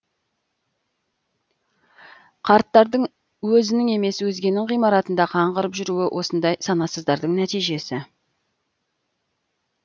қарттардың өзінің емес өзгенің ғимаратында қаңғырып жүруі осындай санасыздардың нәтижесі